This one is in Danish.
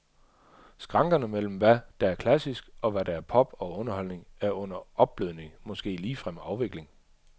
Skrankerne mellem hvad der er klassisk, og hvad der er pop og underholdning, er under opblødning, måske ligefrem afvikling.